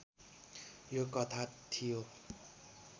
यो कथा थियो